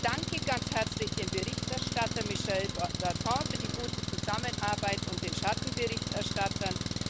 Ich danke ganz herzlich dem Berichterstatter Michel Dantin für die gute Zusammenarbeit und den Schattenberichterstattern.